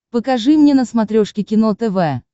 покажи мне на смотрешке кино тв